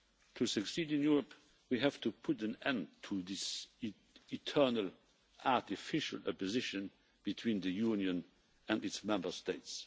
To succeed in Europe, we have to put an end to this eternal artificial opposition between the Union and its Member States.